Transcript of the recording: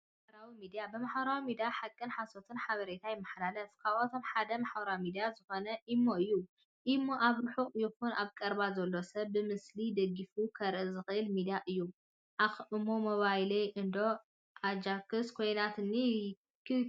ማሕበራዊ ሚድያ፦ ብማሕበራዊ ሚድያ ሓቅን ሓሶትን ሓበሬታት ይመሓላለፉ ካብቶም ሓደ ማሕበራዊ ሚድያ ዝኮነ ኢሞ እዩ። እሞ ኣብ ርሑቅ ይኩን ኣብ ቀረባ ዘሎ ሰብ ብምስሊ ደጊፉ ከርኢ ዝኽእል ሚድያ እዩ። ዓኽ! እሞ ሞባይለይ እንዶ ኣጀኽስ ኮይና ክክክክ!